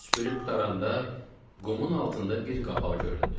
Süpürüb qutaranda qumun altında bir qapaq göründü.